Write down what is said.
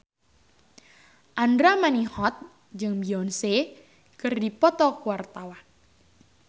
Andra Manihot jeung Beyonce keur dipoto ku wartawan